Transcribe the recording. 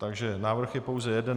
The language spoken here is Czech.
Takže návrh je pouze jeden.